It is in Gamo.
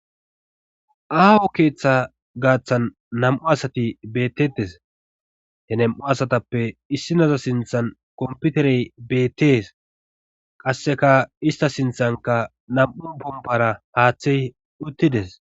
aaho keeththa gaaththan nam'u asati bettetes he nam'u asatappe issinaza sinthan komputerey beettees qasseka ista sinthanka nam'u pompara haaththey uttides